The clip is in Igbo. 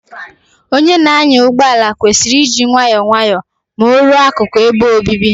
Onye na-anya ụgbọ ala kwesịrị iji nwayọọ nwayọọ Ma o ruo akụku ebe obibi